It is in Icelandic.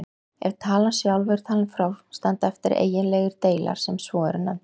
Ef talan sjálf er talin frá standa eftir eiginlegir deilar sem svo eru nefndir.